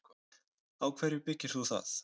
Á hverju byggir þú það?